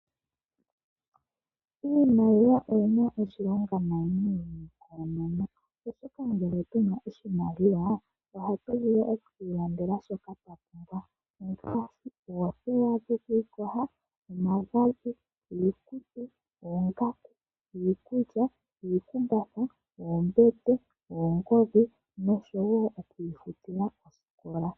Iimaliwa oyi na oshilonga nayi koonono. Oshoka ngele tu na oshimaliwa, ohatu vulu oku ilandela shoka a pumbwa ngaashi: oothewa dhoku ikoha, omagadhi, iikutu, oongaku, iikulya, iikumbatha, oombete, oongodhi nosho woo okwiifutila oosikola.